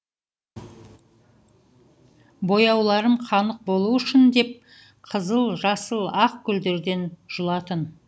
бояуларым қанық болу үшін деп қызыл жасыл ақ гүлдерден жұлатын